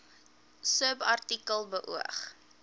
subartikel beoog